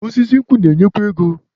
Osisi nkwụ na-enyekwa ego.